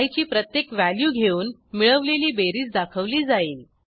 I ची प्रत्येक value घेऊन मिळवलेली बेरीज दाखवली जाईल